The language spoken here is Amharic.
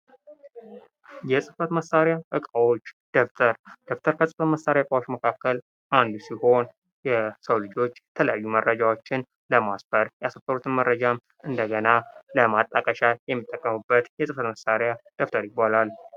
የጽፈት መሳሪያ እቃዋች። ደብተር። ደብተር ከጽፈት መሳሪያ እቃዎች መካከል አንዱ ሲሆን የሰው ልጆች የተለያዩ መረጃቸውን ለማስፈር የሰፈሩትን መረጃ እንደገና ለማጣቀሻ የሚጠቀሙበት የጽፈት መሳሪያ ደብተር ይባላል።